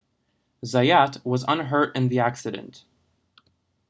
zayat was unhurt in the accident